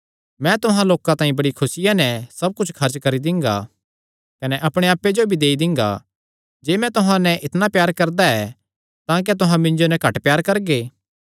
मैं तुहां लोकां तांई बड़ी खुसिया नैं सब कुच्छ खर्च करी दिंगा कने अपणे आप्पे जो भी देई दिंगा जे मैं तुहां नैं इतणा प्यार करदा ऐ तां क्या तुहां मिन्जो नैं घट प्यार करगे